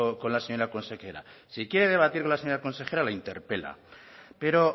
con la señora consejera si quiere debatir con la señora consejera le interpela pero